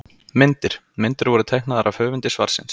Myndir: Myndir voru teiknaðar af höfundi svarsins.